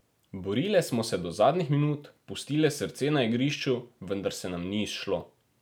Borile smo se do zadnjih minut, pustile srce na igrišču, vendar se nam ni izšlo.